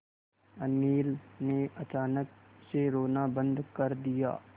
अनिल ने अचानक से रोना बंद कर दिया